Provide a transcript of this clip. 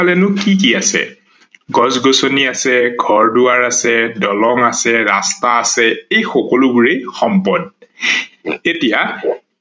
নো কি কি আছে? গছ-গছ্নি আছে, ঘৰ-দোৱাৰ আছে, দলং আছে, শাস্তা আছে এই সকলোবোৰেই সম্পদ ।এতিয়া